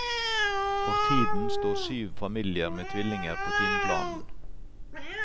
For tiden står syv familier med tvillinger på timeplanen.